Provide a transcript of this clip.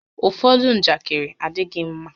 Ụfọdụ njakịrị adịghị ḿmá